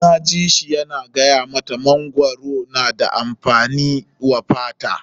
Dan na ji shi yana gaya mata mangwaro na da amfani wa fata.